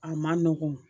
A man nɔgɔn